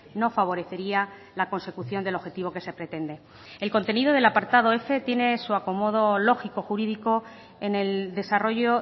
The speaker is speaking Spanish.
no favorecería la consecución del objetivo que se pretende el contenido del apartado f tiene su acomodo lógico jurídico en el desarrollo